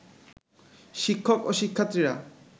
শিক্ষক ও শিক্ষার্থীরা